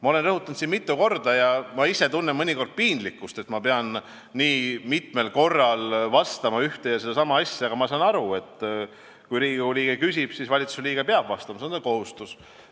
Ma olen siin seda mitu korda rõhutanud ja tunnen mõnikord piinlikkust, et ma pean nii mitmel korral ühte ja sama asja rääkima, aga ma saan aru, et kui Riigikogu liige küsib, siis valitsusliige peab vastama, see on ta kohustus.